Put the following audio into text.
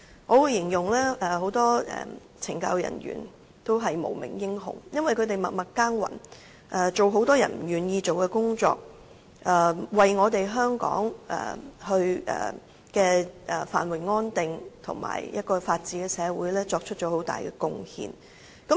我會形容很多懲教人員也是無名英雄，因為他們默默耕耘，做很多人不願意做的工作，為香港的繁榮安定和法治的社會作出很大貢獻。